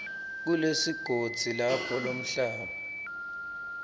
kulesigodzi lapho lomhlaba